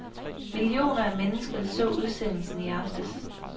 Millioner af mennesker så udsendelsen i aftes.